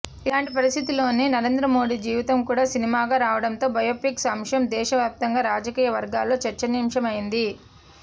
ఇలాంటి పరిస్థితుల్లోనే నరేంద్రమోదీ జీవితం కూడా సినిమాగా రావడంతో బయోపిక్స్ అంశం దేశవ్యాప్తంగా రాజకీయ వర్గాల్లో చర్చనీయాంశమైంది